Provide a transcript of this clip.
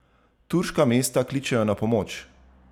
Turška mesta kličejo na pomoč!